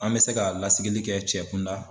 An mɛ se ka lasigili kɛ cɛ kunda.